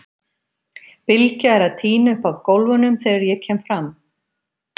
Bylgja er að tína upp af gólfunum þegar ég kem fram.